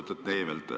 Lugupeetud Neivelt!